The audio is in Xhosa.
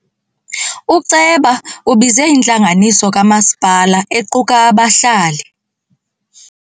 Uceba ubize intlanganiso kamasipala equka abahlali.